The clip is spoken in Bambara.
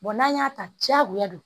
n'an y'a ta diyagoya don